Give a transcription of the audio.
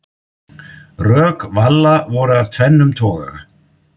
Rök Valla voru af tvennum toga.